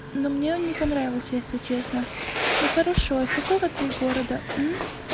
но мне он не понравился если честно ну хорошо из какого ты города